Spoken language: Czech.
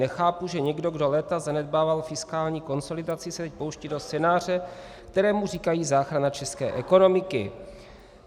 Nechápu, že někdo, kdo léta zanedbával fiskální konsolidaci, se teď pouští do scénáře, kterému říkají záchrana české ekonomiky.